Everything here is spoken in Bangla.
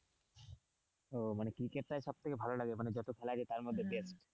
ও মানে ক্রিকেটাই সব থেকে ভালো লাগে যত খেলা আছে তার মধ্যে থেকে।